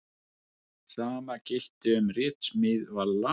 Sama gilti um ritsmíð Valla.